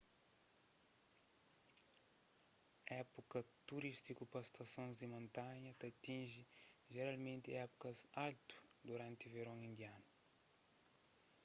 épuka turístiku pa stasons di montanha ta atinji jeralmenti épukas altu duranti veron indianu